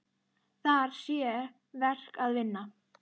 Þar sé verk að vinna.